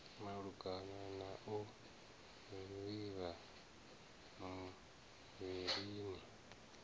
malugana na u vhifha muvhilini